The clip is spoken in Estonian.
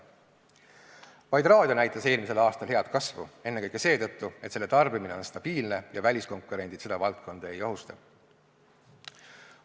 Vaid raadio näitas eelmisel aastal head kasvu, ennekõike seetõttu, et selle tarbimine on stabiilne ja väliskonkurendid seda valdkonda ei ohusta.